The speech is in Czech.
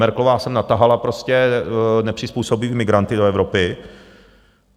Merkelová sem natahala prostě nepřizpůsobivé migranty do Evropy.